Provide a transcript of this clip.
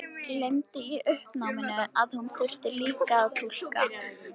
Gleymdi í uppnáminu að hún þurfti líka að túlka.